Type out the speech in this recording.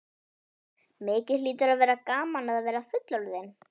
Mikið hlýtur að vera gaman að vera fullorðinn!